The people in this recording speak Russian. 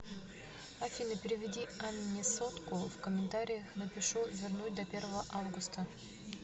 афина переведи анне сотку в комментариях напишу вернуть до первого августа